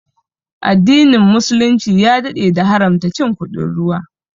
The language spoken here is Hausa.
Addinin muslunci ya daɗe da haramta cin kuɗin ruwa